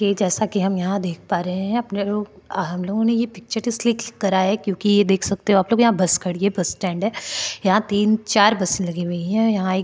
के जैसा की हम यहाँ देख पा रहे है अपने लोग हम लोगो ने ये पिक्चर इसलिए क्लिक करा है क्यूंकि ये देख सकते हो आप लोग यहाँ बस खड़ीं है ये बस स्टैंड है यहाँ तीन चार बस लगी हुई है यहाँ एक --